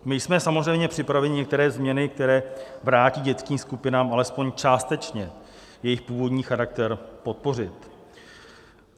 My jsme samozřejmě připraveni některé změny, které vrátí dětským skupinám alespoň částečně jejich původní charakter, podpořit.